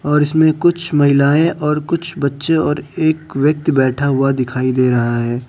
और इसमें कुछ महिलाएं और कुछ बच्चे और एक व्यक्ति बैठा हुआ दिखाई दे रहा है।